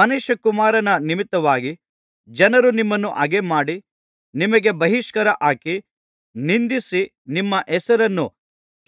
ಮನುಷ್ಯಕುಮಾರನ ನಿಮಿತ್ತವಾಗಿ ಜನರು ನಿಮ್ಮನ್ನು ಹಗೆಮಾಡಿ ನಿಮಗೆ ಬಹಿಷ್ಕಾರ ಹಾಕಿ ನಿಂದಿಸಿ ನಿಮ್ಮ ಹೆಸರನ್ನು